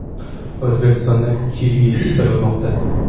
O‘zbekistonda kivi yetishtirilmoqda.